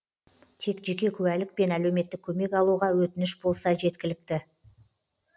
тек жеке куәлік пен әлеуметтік көмек алуға өтініш болса жеткілікті